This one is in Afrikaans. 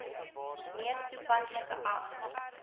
mees toepaslike ag